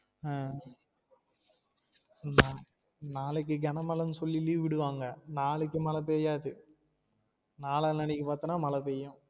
ஆஹ் நா நாளைக்கு கன மலன்னு சொல்லி leave விடுவாங்க நாளைக்கு மழ பெய்யாது நாளனாலைக்கு பாத்தினா மழ பெய்யும்